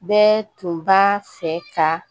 Bɛɛ tun b'a fɛ ka